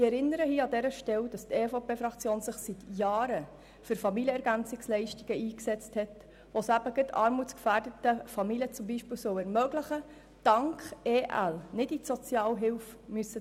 Ich erinnere an dieser Stelle, dass sich die EVP-Fraktion seit Jahren für Familienergänzungsleistungen eingesetzt hat, die es eben gerade armutsgefährdeten Familien ermöglichen sollen, dank Familienergänzungsleistungen nicht Sozialhilfe beziehen zu müssen.